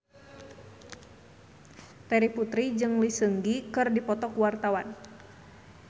Terry Putri jeung Lee Seung Gi keur dipoto ku wartawan